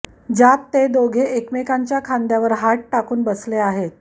ज्यात ते दोघे एकमेकांच्या खांद्यावर हात टाकून बसले आहेत